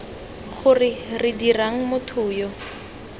gore re dirang motho yo